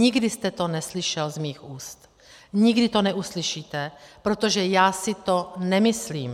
Nikdy jste to neslyšel z mých úst, nikdy to neuslyšíte, protože já si to nemyslím.